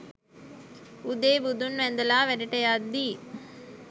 උදේ බුදුන් වැඳලා වැඩට යද්දි